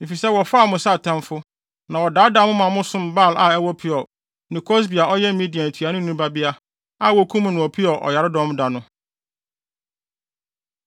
Efisɛ wɔfaa mo sɛ atamfo, na wɔdaadaa mo ma mo som Baal a ɛwɔ Peor, ne Kosbi a ɔyɛ Midian ntuanoni babea, a wokum no wɔ Peor ɔyaredɔm da no.”